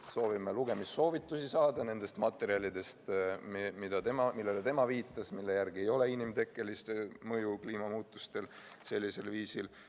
Soovime lugemissoovitusi saada nendest materjalidest, millele ta viitas ja mille järgi ei ole inimtekkelist mõju kliimamuutustele sellisel viisil.